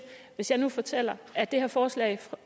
hvis jeg nu fortæller at det her forslag